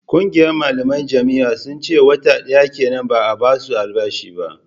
Ƙungiyar malaman jami'an sun ce wata ɗaya kenan ba a ba su albashi ba